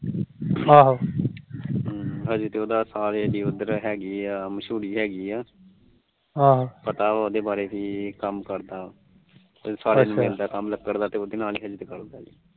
ਹੁ ਹਜੇ ਤੇ ਉਹਦਾ ਸਾਲੇ ਉਧਰ ਹੈਗੇ ਆ ਮਸ਼ੁਰੀ ਹੈਗੀ ਆ ਪਤਾ ਉਹਦੇ ਬਾਰੇ ਪੀ ਇਹ ਕੰਮ ਕਰਦਾ ਆ ਸਾਲੇ ਨੂੰ ਮਿਲਦਾ ਕੰਮ ਲੱਕੜ ਦਾ ਤੇ ਉਹਦੇ ਨਾਲ ਕਰਦਾ ਆ